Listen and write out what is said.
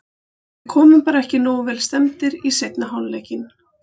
Við komum bara ekki nógu vel stemmdir í seinni hálfleikinn.